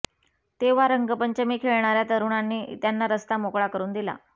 तेव्हा रंगपंचमी खेळणार्या तरुणांनी त्यांना रस्ता मोकळा करून दिला